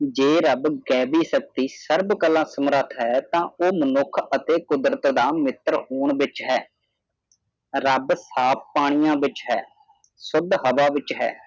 ਜੇ ਰੱਬ ਗੈਵੀ ਸ਼ਕਤੀ ਸਰਬਕਲਾ ਸਮਰੱਥ ਹੈ ਤਾ ਉਹ ਮਨੁੱਖ ਅੱਤੇ ਮਨੁੱਖ ਦਾ ਮਿੱਤਰ ਹੋਣ ਵਿਚ ਹੈ ਰੱਬ ਸਾਫ ਪਾਣੀਆਂ ਵਿਚ ਸ਼ੁੱਦ ਹਵਾ ਵਿਚ ਹੈ